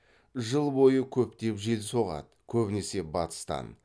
жыл бойы көптеп жел соғады көбінесе батыстан